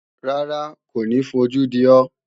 Rárá, kò ní fojú di ọ́